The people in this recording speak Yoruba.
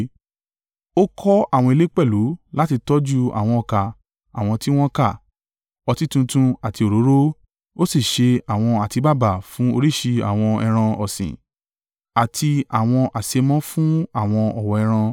Ó kọ́ àwọn ilé pẹ̀lú láti tọ́jú àwọn ọkà àwọn tí wọ́n ka, ọtí tuntun àti òróró; ó sì ṣe àwọn àtíbàbà fún oríṣìí àwọn ẹran ọ̀sìn àti àwọn àṣémọ́ fun àwọn ọ̀wọ̀ ẹran.